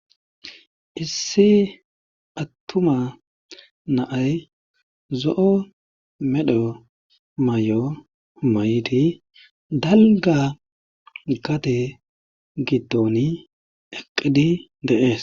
Issi attuma na'ay zo7o medho mayo mayidi dalgga gade giddoni eqqidi de'ees.